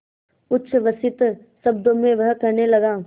उच्छ्वसित शब्दों में वह कहने लगा